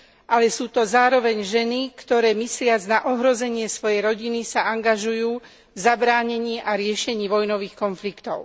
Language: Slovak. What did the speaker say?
ale sú to zároveň ženy, ktoré mysliac na ohrozenie svojej rodiny sa angažujú v zabránení a riešení vojnových konfliktov.